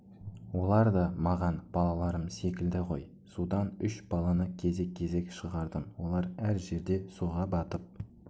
олар да маған балаларым секілді ғой судан үш баланы кезек-кезек шығардым олар әр жерде суға батып